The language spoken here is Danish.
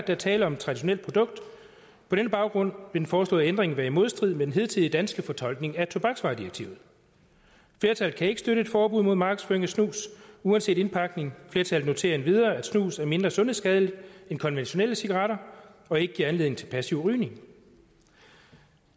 er tale om et traditionelt produkt på denne baggrund den foreslåede ændring være i modstrid med den hidtidige danske fortolkning af tobaksvaredirektivet flertallet kan ikke støtte et forbud mod markedsføring af snus uanset indpakning flertallet noterer endvidere at snus er mindre sundhedsskadeligt end konventionelle cigaretter og ikke giver anledning til passiv rygning